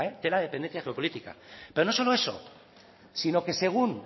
tela de dependencia geopolítica pero no solo eso sino que según